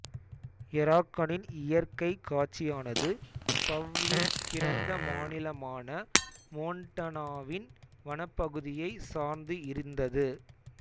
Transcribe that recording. எராகனின் இயற்கைக் காட்சியானது பவ்லின் பிறந்த மாநிலமான மோண்டனாவின் வனப்பகுதியை சார்ந்து இருந்தது